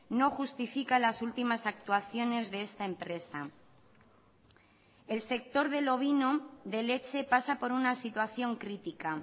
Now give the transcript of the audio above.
no justifica las últimas actuaciones de esta empresa el sector del ovino de leche pasa por una situación crítica